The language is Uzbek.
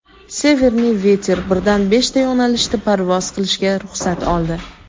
"Severniy veter" birdan beshta yo‘nalishda parvoz qilishga ruxsat oldi:.